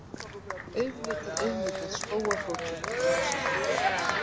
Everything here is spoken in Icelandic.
Auðvitað, auðvitað, spóafótur, kjamsar hún.